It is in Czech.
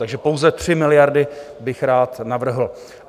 Takže pouze 3 miliardy bych rád navrhl.